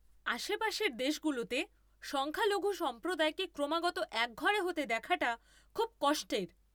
আশেপাশের দেশগুলোতে সংখ্যালঘু সম্প্রদায়কে ক্রমাগত একঘরে হতে দেখাটা খুব কষ্টের।